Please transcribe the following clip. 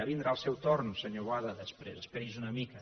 vindrà el seu torn senyor boada després esperi’s una mica